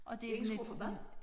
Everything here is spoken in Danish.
Og det sådan et en